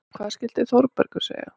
Hvað skyldi Þórbergur segja?